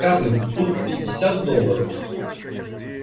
скарлетт тут пятьдесят долларов